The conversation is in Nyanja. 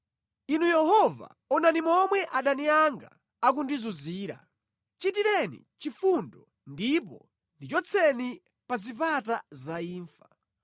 Inu Yehova, onani momwe adani anga akundizunzira! Chitireni chifundo ndipo ndichotseni pa zipata za imfa,